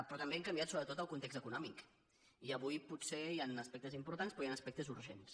però també hem canviat sobretot el context econòmic i avui potser hi han aspectes importants però hi han aspectes urgents